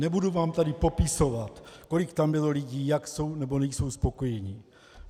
Nebudu vám tady popisovat, kolik tam bylo lidí, jak jsou nebo nejsou spokojeni.